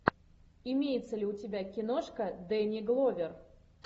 имеется ли у тебя киношка дэнни гловер